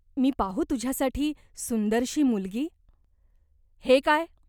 मी पाहू तुझ्यासाठी सुंदरशी मुलगी ? हे काय ?